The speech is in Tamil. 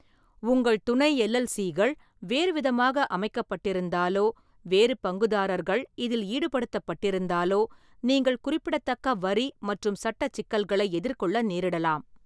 உங்கள் துணை எல். எல். சி. கள் வேறுவிதமாக அமைக்கப்பட்டிருந்தாலோ வேறு பங்குதாரர்கள் இதில் ஈடுபடுத்தப்பட்டிருந்தாலோ, நீங்கள் குறிப்பிடத்தக்க வரி மற்றும் சட்டச் சிக்கல்களை எதிர்கொள்ள நேரிடலாம்.